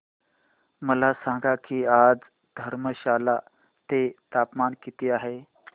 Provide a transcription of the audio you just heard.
मला सांगा की आज धर्मशाला चे तापमान किती आहे